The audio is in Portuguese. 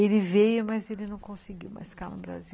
Ele veio, mas ele não conseguiu mais ficar no Brasil.